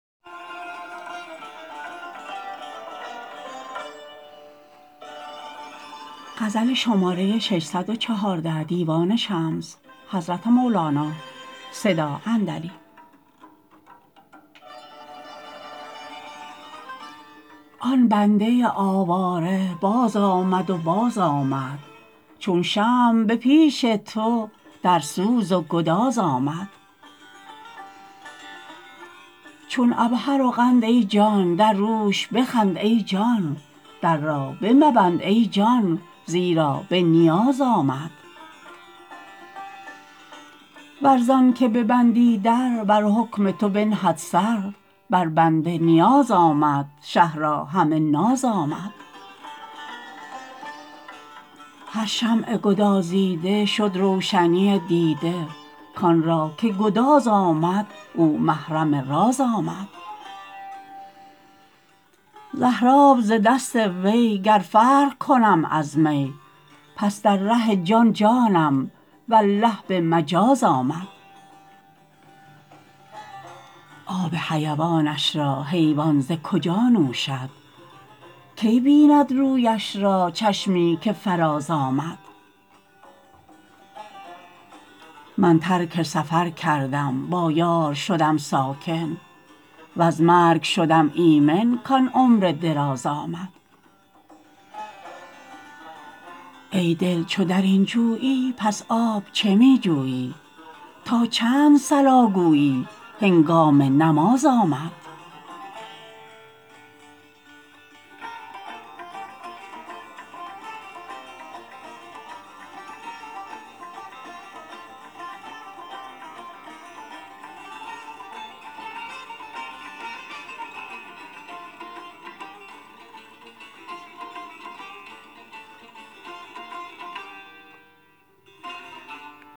آن بنده آواره بازآمد و بازآمد چون شمع به پیش تو در سوز و گداز آمد چون عبهر و قند ای جان در روش بخند ای جان در را بمبند ای جان زیرا به نیاز آمد ور زانک ببندی در بر حکم تو بنهد سر بر بنده نیاز آمد شه را همه ناز آمد هر شمع گدازیده شد روشنی دیده کان را که گداز آمد او محرم راز آمد زهراب ز دست وی گر فرق کنم از می پس در ره جان جانم والله به مجاز آمد آب حیوانش را حیوان ز کجا نوشد کی بیند رویش را چشمی که فرازآمد من ترک سفر کردم با یار شدم ساکن وز مرگ شدم ایمن کان عمر دراز آمد ای دل چو در این جویی پس آب چه می جویی تا چند صلا گویی هنگام نماز آمد